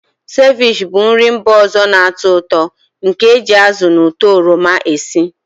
Sevich bụ nri mba ọzọ na-atọ ụtọ nke e ji azụ na ụtọ oroma esi.